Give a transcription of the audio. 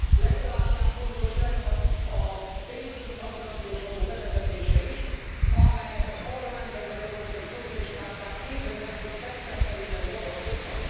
Legalább ilyen fontos lenne a pénzügyi tranzakciós adó bevezetése is, amelyet a Parlamentben az európai szocialisták már 2008 szeptemberében javasoltak.